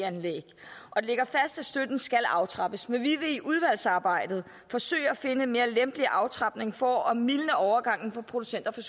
anlæg det ligger fast at støtten skal aftrappes men vi vil i udvalgsarbejdet forsøge at finde en mere lempelig aftrapning for at mildne overgangen for producenter for